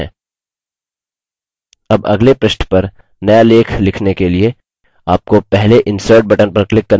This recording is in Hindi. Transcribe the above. अब अगले पृष्ठ पर now लेख लिखने के लिए आपको पहले insert button पर click करने की आवश्यकता है